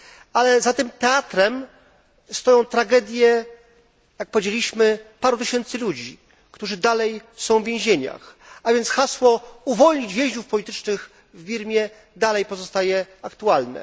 Ale za tym teatrem stoją tragedie, jak powiedzieliśmy, paru tysięcy ludzi, którzy dalej są w więzieniach. A więc hasło uwolnić więźniów politycznych w Birmie nadal pozostaje aktualne.